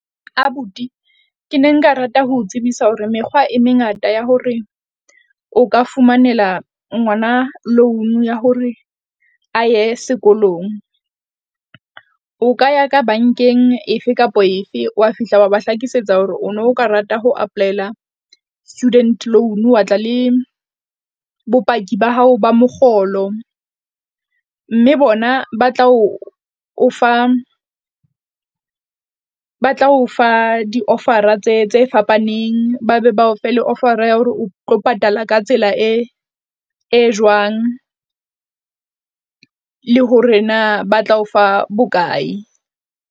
Abuti ke ne nka rata ho tsebisa hore mekgwa e mengata ya hore o ka fumanela ngwana loan-u ya hore a ye sekolong. O ka ya ka bankeng efe kapo efe. Wa fihla wa ba hlakisetsa hore o no ka rata ho apply-ela student loan, wa tla le bopaki ba hao ba mokgolo mme bona ba tla o o fa ba tla o fa ba tla ofa di-offer-a tse tse fapaneng, ba be bao fe le offer-a ya hore o tlo patala ka tsela e e jwang le hore na ba tla o fa bokae.